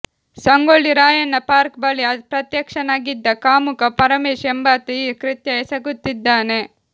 Sangolli Rayanna park ಬಳಿ ಪ್ರತ್ಯಕ್ಷನಾಗಿದ್ದ ಕಾಮುಕ ಪರಮೇಶ್ ಎಂಬಾತ ಈ ಕೃತ್ಯ ಎಸಗುತ್ತಿದ್ದಾನೆ